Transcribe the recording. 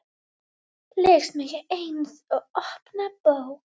Les mig eins og opna bók.